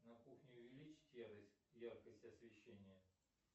на кухне увеличить яркость освещения